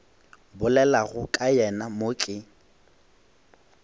bolelago ka yena mo ke